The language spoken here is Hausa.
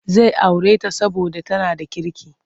Zai aure ta saboda tana da kirki.